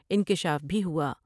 انکشاف بھی ہوا ۔